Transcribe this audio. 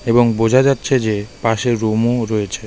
এবং বোঝা যাচ্ছে যে পাশে রুমও রয়েছে .